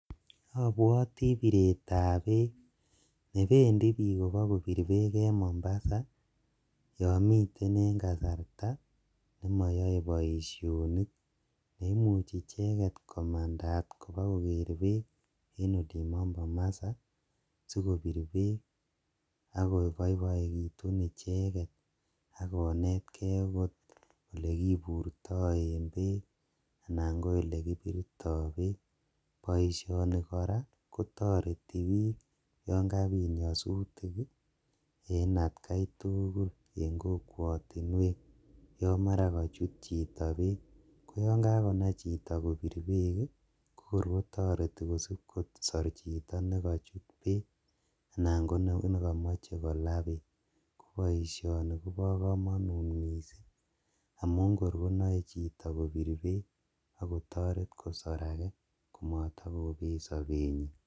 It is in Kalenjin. Abwotii bireetab beek nebendii biik ibokobir beek en Mombasa yoon miten en kasarta nemoyoe boishonik, neimuchi icheket komandat kibokoker beek en olimbo Mombasa sikobir beek akoboiboekitun ichekeet akonetkee akot akoboo elekiburto en beek anan ko elekibirto beek, boishoni kora kotoreti biik yoon kabiit nyosutik en atkai tukul en kokwotinwek yoon maran kochut chito beek, ko yoon kakonai chito kobir beek ii ko kor kotoreti kosib kosor chito nekochut beek anan konekomoche kolaa beek, koboishoni kobokomonut mising amun kor konoe chito kobir beek akotoreet kosor akee komotokobeet sobenyin.